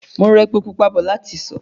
Mo ra epo pupa bọ̀ láti ìsọ̀